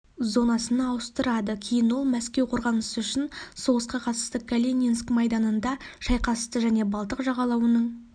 зонасына ауыстырады кейін ол мәскеу қорғанысы үшін соғысқа қатысты калининск майданында шайқасты және балтық жағалауының